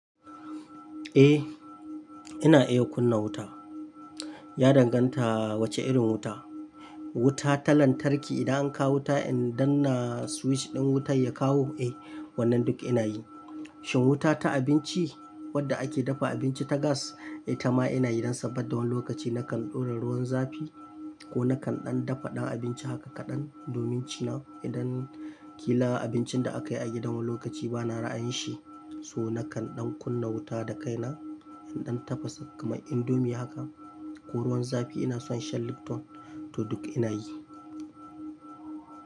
Eh, ina iya kunna wuta. Ya danganta wace irin wuta. Wuta ta lantarki, idan an kawo wuta in danna switch ɗin wutan ya kawo, eh wannan duk ina yi. Shin wuta ta abinci? Wadda ake dafa abinci ta gas? Eh, itama ina yi, don saboda wani lokaci na kan ɗora ruwan zafi ko na kan ɗan dafa ɗan abinci haka kaɗan din ci na. Idan kila abincin da aka yi a gidan wani lokaci ba na ra'ayin shi. So na kan ɗan kunna wuta da kai na, in ɗan tafasa kaman indomie haka ko ruwan zafi ina son shan lipton, to duk ina yi.